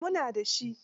Eh mu na da shi.